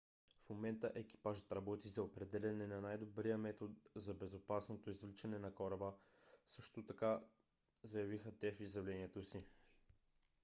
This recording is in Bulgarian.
в момента екипажът работи за определяне на най-добрия метод за безопасното извличане на кораба също така заявиха те в изявлението си